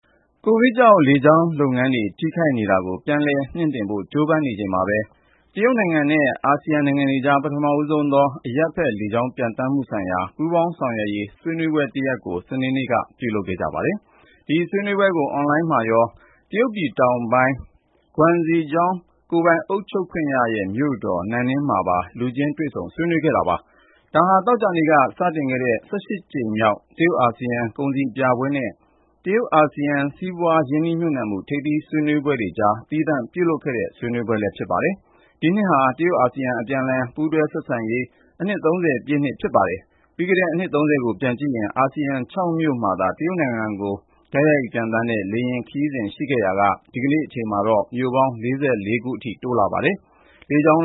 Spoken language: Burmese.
ကိုဗစ်ကြောင့် လေကြောင်းလုပ်ငန်းတွေ ထိခိုက်နေတာကို ပြန်လည်မြှင့်တင်ဖို့ ကြိုးပမ်းနေချိန်မှာပဲ တရုတ်နိုင်ငံနဲ့ အာဆီယံနိုင်ငံတွေကြား ပထမဦးဆုံးသော အရပ်ဘက် လေကြောင်းပျံသန်းမှုဆိုင်ရာ ပူးပေါင်းဆောင်ရွက်ရေး ဆွေးနွေးပွဲတရပ်ကို စနေနေ့က ပြုလုပ်ခဲ့ပါတယ်။ ဒီဆွေးနွေးပွဲကို အွန်လိုင်းမှာရော တရုတ်ပြည်တောင်ပိုင်း Guangxi Zhuang ကိုယ်ပိုင်အုပ်ချုပ်ခွင့်ရ မြို့တော် နန်နင်းမှာပါ လူချင်းတွေ့ဆုံ ဆွေးနွေးခဲ့ကြတာပါ။ ဒါဟာ သောကြာနေ့က စတင်ခဲ့တဲ့ ၁၈ ကြိမ်မြောက် တရုတ်-အာဆီယံ ကုန်စည်ပြပွဲနဲ့ တရုတ်-အာဆီယံ စီးပွားရေး ရင်းနှီးမြှုပ်နှံမှု ထိပ်သီးဆွေးနွေးပွဲတွေကြား သီးသန့်ပြုလုပ်ခဲ့တဲ့ ဆွေးနွေးပွဲ ဖြစ်ပါတယ်။ ဒီနှစ်ဟာ တရုတ်-အာဆီယံ အပြန်အလှန် ပူးတွဲဆက်ဆံရေး အနှစ် ၃၀ ပြည့်နှစ်လည်း ဖြစ်ပါတယ်။ ပြီးခဲ့တဲ့ အနှစ် ၃၀ ကို ပြန်ကြည့်ရင် အာဆီယံ ၆ မြို့မှာသာ တရုတ်နိုင်ငံကို လေယာဉ်ပျံသန်းမယ့် ခရီးစဉ် ရှိခဲ့ရာက ဒီကနေ့မှာတော့ မြို့ပေါင်း ၄၄ ခုအထိ တိုးလာပါတယ်။ လေကြောင်း